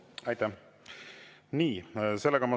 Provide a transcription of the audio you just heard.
Aitäh!